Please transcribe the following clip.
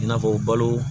I n'a fɔ balo